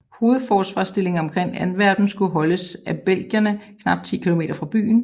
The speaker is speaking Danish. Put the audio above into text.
Hovedforsvarsstillingen omkring Antwerpen skulle holdes af belgierne knap 10 km fra byen